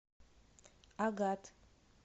агат